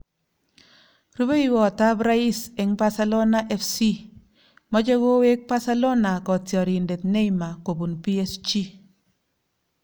Rubeiwotab rais eng Barcelona FC:Machei kowek Barcelona kotiorindet Neymar kobun PSG